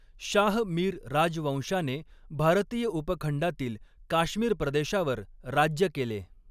शाह मीर राजवंशाने भारतीय उपखंडातील काश्मीर प्रदेशावर राज्य केले.